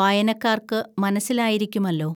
വായനക്കാർക്കുമനസ്സിലായിരിക്കുമല്ലോ